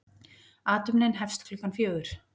Athöfnin hefst klukkan fjögur.